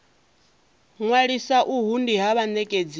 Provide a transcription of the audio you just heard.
ṅwalisa uhu ndi ha vhanekedzi